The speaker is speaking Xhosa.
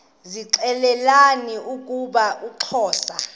zixelelana ukuba uxhosa